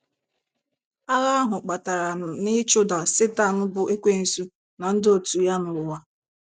Agha ahụ kpatara n’ịchụda Setan bụ́ Ekwensu na ndị òtù ya n’ụwa.